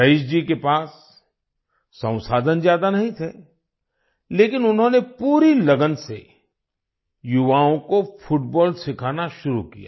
rice ji के पास संसाधन ज्यादा नहीं थे लेकिन उन्होंने पूरी लगन से युवाओं को फुटबॉल सिखाना शुरू किया